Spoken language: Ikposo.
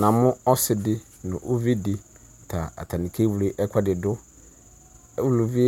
Namʋ ɔsidi nʋ ʋvi di ta akewle ɛkʋɛdi dʋ ʋlʋvi